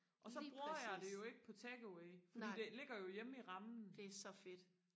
og så bruger jeg det jo ikke på take away fordi det ligger jo hjemme i rammen